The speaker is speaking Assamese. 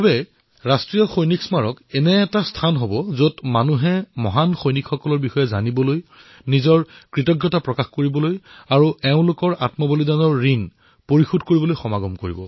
মুঠতে ৰাষ্ট্ৰীয় সৈনিক স্মাৰক দেশবাসীয়ে শ্বহীদ সৈন্যসকলৰ প্ৰতি নিজৰ কৃতজ্ঞতা প্ৰকাশ কৰিবলৈ অহা স্থান হিচাপে বিবেচিত হব